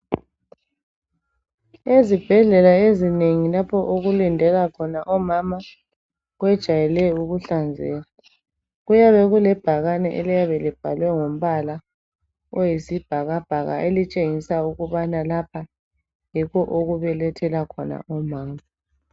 Ezibhedlela ezinengi lapho okulindela khona omama kwejayele ukuhlanzeka. Kuyabe kulebhakane eliyabe libhalwe ngombala oyisibhakabhaka elitshengisa ukubana lapha yikho okubelethela khona omama.